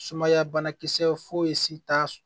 Sumaya banakisɛ foyi si t'a